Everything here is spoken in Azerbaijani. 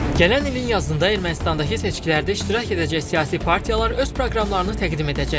Gələn ilin yazında Ermənistandakı seçkilərdə iştirak edəcək siyasi partiyalar öz proqramlarını təqdim edəcəklər.